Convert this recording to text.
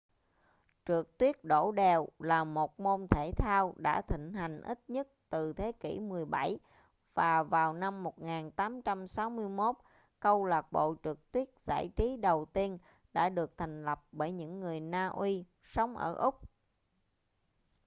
trượt tuyết đổ đèo là một môn thể thao đã thịnh hành ít nhất từ thế kỷ 17 và vào năm 1861 câu lạc bộ trượt tuyết giải trí đầu tiên đã được thành lập bởi những người na uy sống ở úc